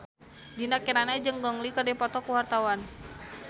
Dinda Kirana jeung Gong Li keur dipoto ku wartawan